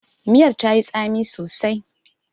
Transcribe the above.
Miyar tayi tsami sosai.